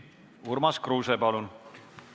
Urmas Kruuse, palun!